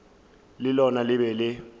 le lona le be le